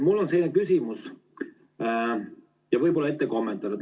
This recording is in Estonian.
Mul on küsimus ja võib-olla ette kommentaar.